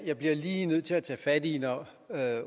jeg bliver lige nødt til at tage fat i det når